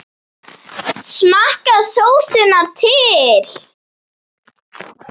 Smakkið sósuna til.